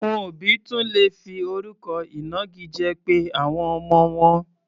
Àwọn òbí tún lè fi orúkọ ìnagijẹ pe àwọn ọmọ wọn.